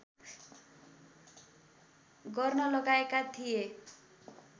गर्न लगाएका थिए